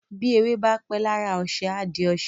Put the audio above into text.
bi ewé bá pé lára oṣe a dì oṣe